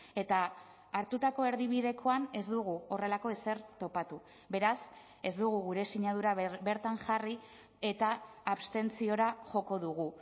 eta hartutako erdibidekoan ez dugu horrelako ezer topatu beraz ez dugu gure sinadura bertan jarri eta abstentziora joko dugu